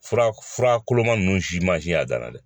Fura fura koloma ninnu mansin y'a dan na dɛ